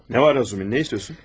Nə var Razumin, nə istəyirsən?